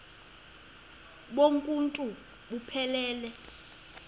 bonk uuntu buphelele